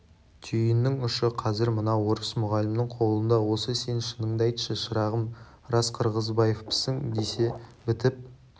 түйіннің ұшы қазір мына орыс мұғалімнің қолында осы сен шыныңды айтшы шырағым рас қырғызбаевпысың десе бітіп